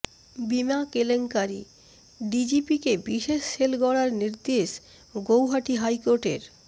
বিমা কেলেংকারিঃ ডিজিপিকে বিশেষ সেল গড়ার নির্দেশ গৌহাটি হাইকোর্টের